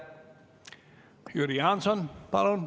Jüri Jaanson, palun!